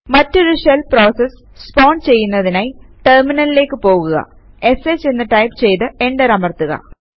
മറ്റൊരു shell process spawn ചെയ്യുന്നതിനായി ടെർമിനലിലേക്ക് പോകുക ഷ് എന്ന് ടൈപ് ചെയ്ത് എന്റർ അമർത്തുക